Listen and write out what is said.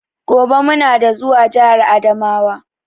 Gobe muna da zuwa jahar adamawa.